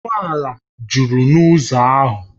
Ụgbọ ala juru n’ụzọ ahụ